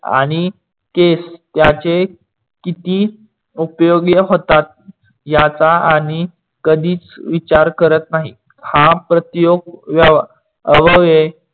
आणि केस ज्याचे किती उपयोग होतात याचा आणि कधीच विचार करत नाही. हा प्रतियोग अवयव